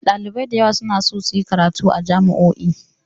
Ɗalibai da yawa suna so su yi karatu a jami'o'i